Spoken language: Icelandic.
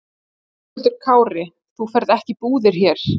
Höskuldur Kári: Þú ferð ekki í búðir hér?